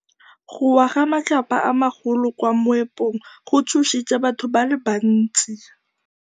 Go wa ga matlapa a magolo ko moepong go tshositse batho ba le bantsi.